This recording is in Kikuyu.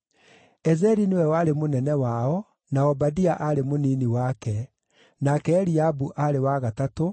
Ezeri nĩwe warĩ mũnene wao, na Obadia aarĩ mũnini wake; nake Eliabu aarĩ wa gatatũ,